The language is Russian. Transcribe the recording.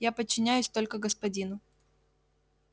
я подчиняюсь только господину